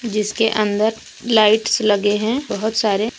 जिसके अंदर लाइट्स लगे हैं बहुत सारे।